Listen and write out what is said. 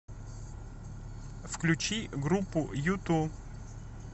включи группу юту